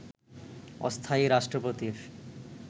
অস্থায়ী রাষ্ট্রপতির